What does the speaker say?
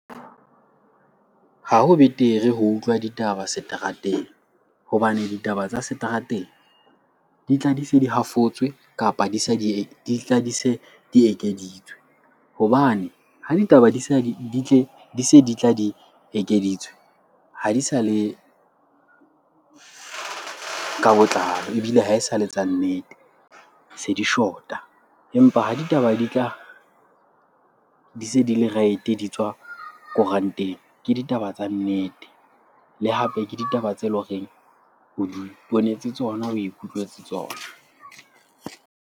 Ha ho betere ho utlwa ditaba seterateng hobane ditaba tsa seterateng di tla di se di hafotswe kapa di tla di se di ekeditswe. Hobane ha ditaba di se di tla di ekeditswe ha di sa le ka botlalo ebile ha esale tsa nnete, se di shota. Empa ha ditaba di tla di se di-right-e, di tswa koranteng ke ditaba tsa nnete. Le hape ke ditaba tse leng horeng o di ponetse tsona, o ikutlwetse tsona.